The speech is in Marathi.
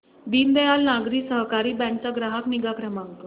दीनदयाल नागरी सहकारी बँक चा ग्राहक निगा क्रमांक